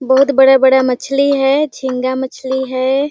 बहुत बड़ा -बड़ा मछली है झिंगा मछली है |